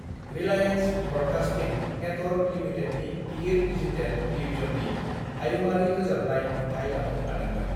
Reliance broadcasting network लिमिटेडनि गिदिर digital डिवीजननि हायुङारि रोजाबनाय मोनथाइ लानो हादोंमोन।